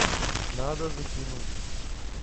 надо закинуть